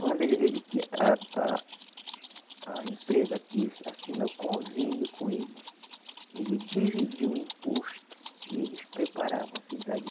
Quando ele, ele que, a a a empresa quis assinar o convênio com ele, ele dividiu o imposto e eles preparavam a cidade.